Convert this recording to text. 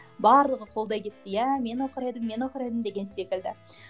барлығы қолдай кетті иә мен оқыр едім мен оқыр едім деген секілді